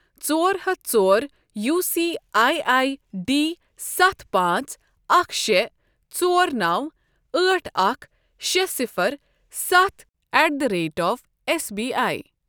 ژور ہَتھ ژور U C I I D سَتھ پانٛژھ اَکھ شےٚ ژور نَو ٲٹھ اَکھ شےٚ صِفَر سَتھ at the rate of S B I.